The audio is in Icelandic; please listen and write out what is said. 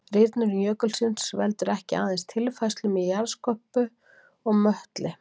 Rýrnun jökulsins veldur ekki aðeins tilfærslum í jarðskorpu og möttli.